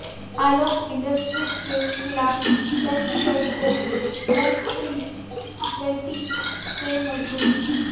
आलोक industries के खिलाफ SBI को एनसीएलटी से मंजूरी